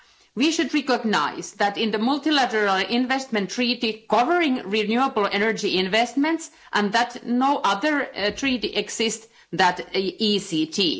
We should recognise that in the multilateral investment treaty covering renewable energy investments, and that no other treaty exists than the ECT.